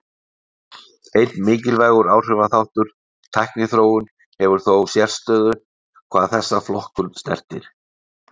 Einn mikilvægur áhrifaþáttur, tækniþróun, hefur þó sérstöðu hvað þessa flokkun snertir.